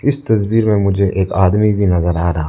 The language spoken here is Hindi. इस तस्वीर में मुझे एक आदमी भी नजर आ रहा--